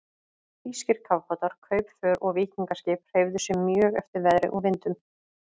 Þýskir kafbátar, kaupför og víkingaskip hreyfðu sig mjög eftir veðri og vindum.